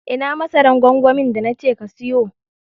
Ina masaran gwangwamin da na ce ka siyu?